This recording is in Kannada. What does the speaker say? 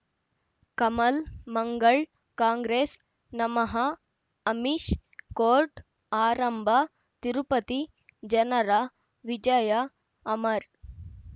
ಕಮಲ್ ಮಂಗಳ್ ಕಾಂಗ್ರೆಸ್ ನಮಃ ಅಮಿಷ್ ಕೋರ್ಟ್ ಆರಂಭ ತಿರುಪತಿ ಜನರ ವಿಜಯ ಅಮರ್